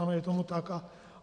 Ano, je tomu tak.